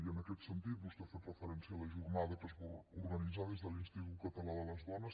i en aquest sentit vostè ha fet referència a la jornada que es va organitzar des de l’institut català de les dones